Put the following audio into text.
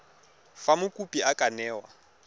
fa mokopi a ka newa